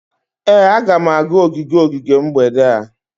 Ee, a ga m aga ogige ogige mgbede a